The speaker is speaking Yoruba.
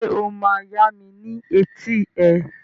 Ṣé o máa yami ni eti ẹ?